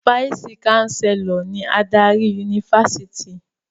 Fáìsì-káńsélọ̀ ni adarí yunifásítì.